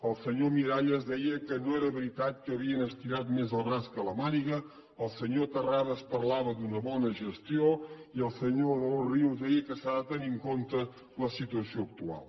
el senyor miralles deia que no era veritat que havien estirat més el braç que la màniga el senyor terrades parlava d’una bona gestió i el senyor de los ríos deia que s’ha de tenir en compte la situació actual